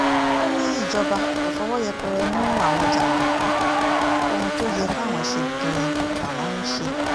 ó ní ìjọba kò fọwọ́ yẹpẹrẹ mú àwọn jàǹdùkú ohun tó yẹ káwọn ṣe gan-an làwọn ń ṣe